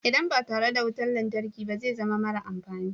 Idan ba tare da wutar lantarki ba zai zama mara amfani.